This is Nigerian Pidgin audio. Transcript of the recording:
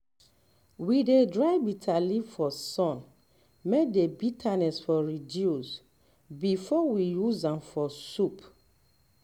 we dey dry bitterleaf for sun may the bitterness for reduce before um we use am for um soup